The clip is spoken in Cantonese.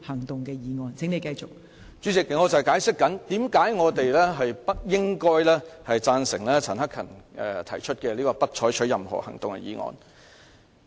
代理主席，我正在解釋為何議員不應支持陳克勤議員提出的"不得就譴責議案再採取任何行動"的議案。